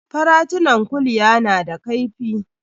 Faratunan kulya na da kaifi.